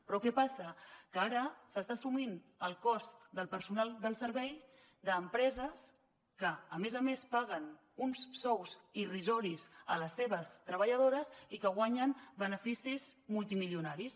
però què passa que ara s’està assumint el cost del personal del servei d’empreses que a més a més paguen uns sous irrisoris a les seves treballadores i que guanyen beneficis multimilionaris